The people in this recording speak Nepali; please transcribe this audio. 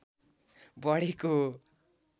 बढेको हो